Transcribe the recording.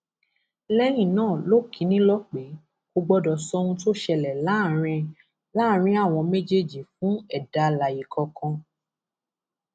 lẹyìn náà ló kì í nílọ pé kò gbọdọ sọ ohun tó ṣẹlẹ láàrin láàrin àwọn méjèèjì fún ẹdá alààyè kankan